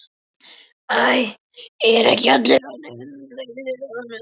Æ, eru ekki allir orðnir hundleiðir á honum?